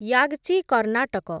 Yagachi Karnataka